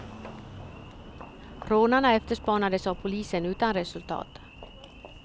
Rånarna efterspanades av polisen utan resultat.